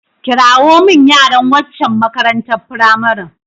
Kirawo min yaran wancan makarantar firamaren.